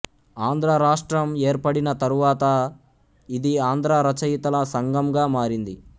ఆంధ్రరాష్ట్రం ఏర్పడిన తరువాత ఇది ఆంధ్ర రచయితల సంఘంగా మారింది